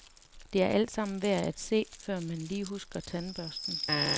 Det er altsammen værd at se, før man lige husker tandbørsten.